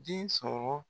Den sɔrɔ